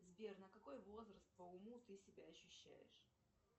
сбер на какой возраст по уму ты себя ощущаешь